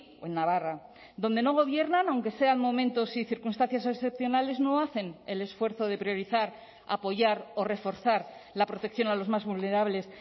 o en navarra donde no gobiernan aunque sean momentos y circunstancias excepcionales no hacen el esfuerzo de priorizar apoyar o reforzar la protección a los más vulnerables